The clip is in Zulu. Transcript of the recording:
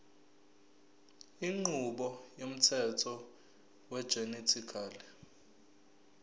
inqubo yomthetho wegenetically